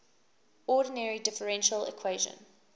ordinary differential equation